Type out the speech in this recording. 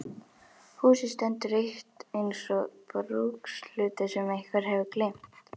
Húsið stendur autt eins og brúkshlutur sem einhver hefur gleymt.